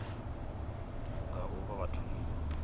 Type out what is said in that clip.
nga u vha vha tholiwa